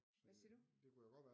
Hvad siger du?